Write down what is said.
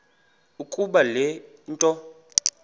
ukuba le nto